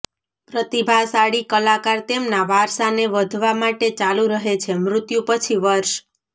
પ્રતિભાશાળી કલાકાર તેમના વારસાને વધવા માટે ચાલુ રહે છે મૃત્યુ પછી વર્ષ